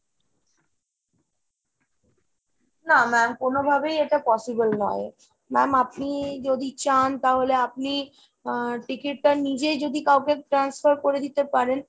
না ma'am কোনোভাবেই এটা possible নয়। ma'am আপনি যদি চান তাহলে আপনি আহ ticket টা নিজে যদি কাউকে transfer করে দিতে পারেন,